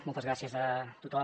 moltes gràcies a tothom